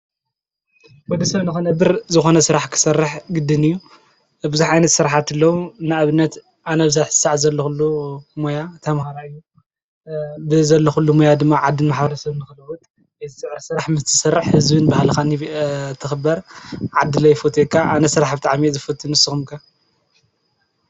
ወደ ሰብ ንኽነብር ዝኾነ ስራሕ ክሰርሕ ግድን እዩ፡፡ ብዙሕ ዓይነት ስርሕቲ ኣለዉ፡፡ ንኣብነት ኣነ ኣብዚሕዚ ሰዓት ዘለዂሉ ሞያ ተምሃራይ እየ፡፡ ብ ዘለዂሉ ሞያ ድማ ዓድን ማሐበረሰብን ንኽልውጥ እየ ዝፅዕር ስራሕ ምስትሠርሕ ሕዝብን ብህለኻን ትኽበር ዓዲለ ይፎትየካ ኣነ ስራሕ ብጣዕሚ እየ ዝፈትይ ንስኹም ከ?